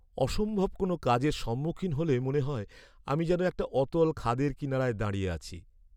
অসম্ভব কোনও কাজের সম্মুখীন হলে মনে হয় আমি যেন একটা অতল খাদের কিনারায় দাঁড়িয়ে আছি।